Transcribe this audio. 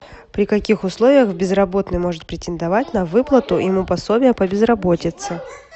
при каких условиях безработный может претендовать на выплату ему пособия по безработице